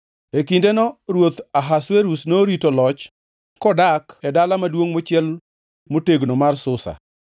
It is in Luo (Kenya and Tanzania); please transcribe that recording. E kindeno ruoth Ahasuerus norito loch Kodak e dala maduongʼ mochiel motegno mar Susa,